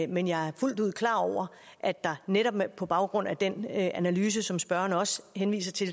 men jeg er fuldt ud klar over at der netop på baggrund af den analyse som spørgeren også henviser til